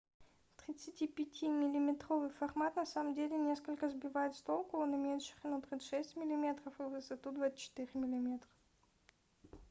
35-ти миллиметровый формат на самом деле несколько сбивает с толку он имеет ширину 36 мм и высоту 24 мм